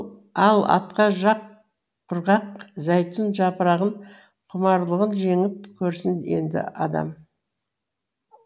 ал отқа жақ құрғақ зәйтүн жапырағын құмарлығын жеңіп көрсін енді адам